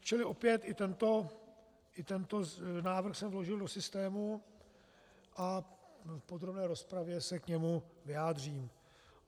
Čili opět, i tento návrh jsem vložil do systému a v podrobné rozpravě se k tomu vyjádřím.